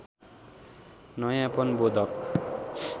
नयाँपन बोधक